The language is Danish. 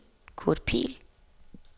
Kurt Pihl